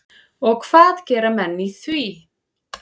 Og hvað gera menn í því?